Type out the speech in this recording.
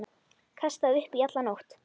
Kastaði upp í alla nótt.